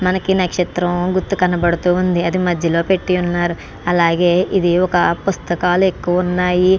ఇది మనకి నక్షత్రం గుర్తు కనపడుతుంది అది మధ్యలో పెట్టి ఉన్నారు అలాగే పుస్తకాలు ఎక్కువ ఉన్నాయి--